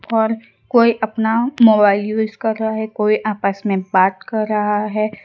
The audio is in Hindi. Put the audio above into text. और कोई अपना मोबाइल यूज़ कर रहा है कोई आपस में बात कर रहा है।